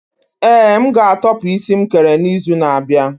Ee, m ga-atopu isi nkere n'izu na-abịa.